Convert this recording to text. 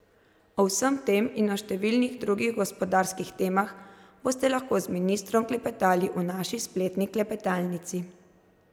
O vsem tem in o številnih drugih gospodarskih temah boste lahko z ministrom klepetali v naši spletni klepetalnici.